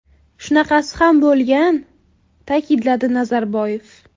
Shunaqasi ham bo‘lgan”, ta’kidladi Nazarboyev.